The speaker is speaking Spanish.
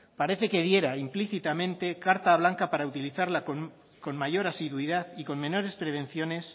parece que diera implícitamente carta blanca para utilizarla con mayor asiduidad y con menores prevenciones